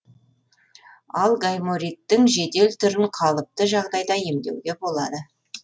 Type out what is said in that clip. ал гаймориттің жедел түрін қалыпты жағдайда емдеуге болады